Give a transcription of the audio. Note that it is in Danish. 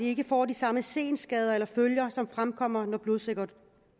ikke får de samme senskader eller følger som fremkommer når blodsukkeret